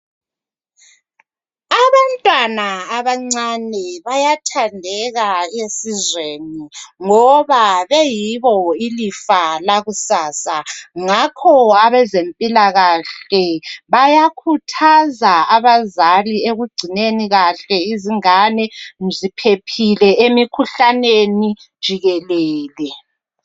Abantwana abancane bayathandeka esizweni Ngoba bayibo ilifa lakusasa. Ngakho abezempilakahle bayakhuthaza abazali ekugcineni kahle izingane ziphephile emikhuhlaneni jikelele